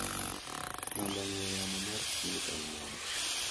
Namba ng'ue yamo mar Smith en mane?